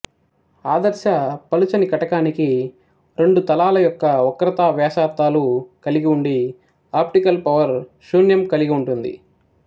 ఆదర్శ పలుచని కటకానికి రెండు తలాల యొక్క వక్రతా వ్యాసార్థాలు కలిగిఉండి ఆప్టికల్ పవర్ శూన్యం కలిగి ఉంటుంది